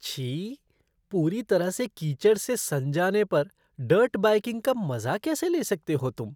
छी! पूरी तरह से कीचड़ से सन जाने पर डर्ट बाइकिंग का मजा कैसे ले सकते हो तुम?